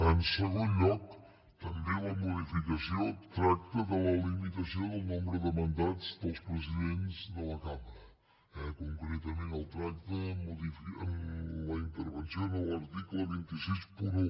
en segon lloc també la modificació tracta de la limitació del nombre de mandats dels presidents de la cambra eh concretament el tracta la intervenció en l’article dos cents i seixanta un